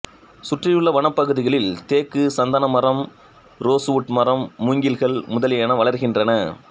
சுற்றியுள்ள வனப்பகுதிகளில் தேக்கு சந்தனமரம் ரோசுவுட் மரம் மூங்கில்கள் முதலியன வளர்கின்றன